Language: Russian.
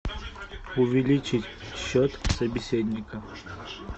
увеличить счет собеседника